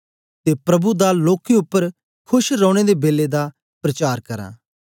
ते प्रभु दा लोकें उपर खोश रौने दे बेलै दा प्रचार करां